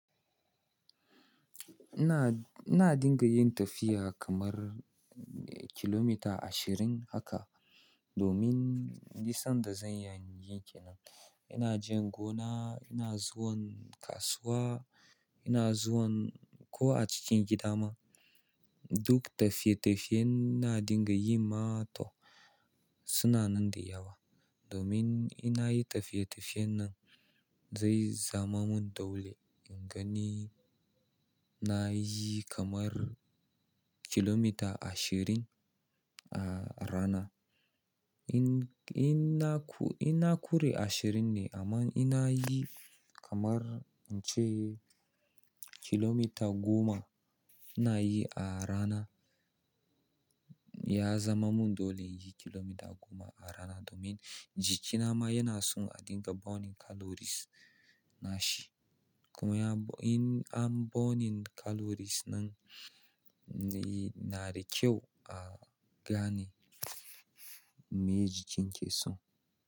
Ina, ina dinga yin tafiya kamar kilomita ashirin haka domin ni sanda zan iya yi ke nan. Ina jin gona, ina zuwan kasuwa, ina zuwan ko a cikin gida ma. Duk tafiye-tafiyen ina dinga yi ma to suna nan da yawa. Domin ina yi tafiye-tafiyen nan zai zama mun dole in gani na yi kamar kilomita ashirin a rana. In, ina ku, ina ƙuri ashirin ne amma ina yi kamar in ce kilomita goma ina yi a rana. Ya zama mun dole in yi kilomita goma a rana domin jikina ma yana son a dinga burning calories nashi. Kenya in an burning calories ɗin nan na da kyau a gane mi jikin ya na so.